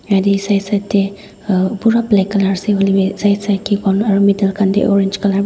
yeti side side te pura black colour hoile bhi middle kan te orange colour bhi.